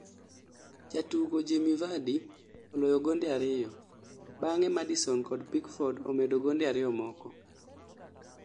Jatugo Jemie vardy oloyo gonde ariyo , bange Madison kod Pickford omedo gonde ariyo moko